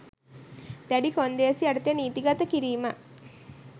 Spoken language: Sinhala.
දෑඩි කොන්දේසි යටතේ නීතිගත කිරීම